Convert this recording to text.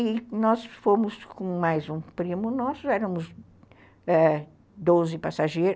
E nós fomos com mais um primo nosso. Éramos doze passageiros